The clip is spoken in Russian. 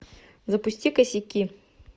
запусти косяки